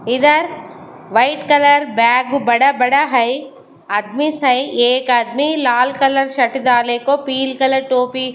इधर white colour bag बड़ा-बड़ा है आदमी है एक आदमी लाल कलर शर्ट डाले को पिल कलर की टोपी--